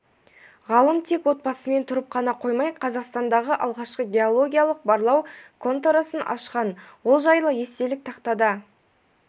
ғалым тек отбасымен тұрып қана қоймай қазақстандағы алғашқы геологиялық-барлау конторасын ашқан ол жайлы естелік тақтада